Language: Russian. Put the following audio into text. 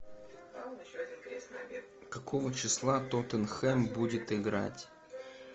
какого числа тоттенхэм будет играть